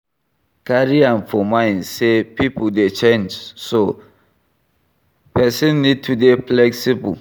Carry am for mind sey pipo dey change so person need to dey flexiible